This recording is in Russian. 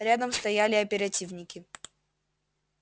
рядом стояли оперативники